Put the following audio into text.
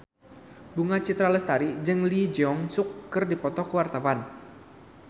Bunga Citra Lestari jeung Lee Jeong Suk keur dipoto ku wartawan